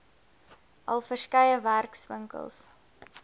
al verskeie werkswinkels